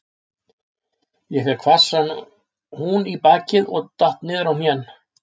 Ég fékk hvassan hún í bakið og datt niður á hnén.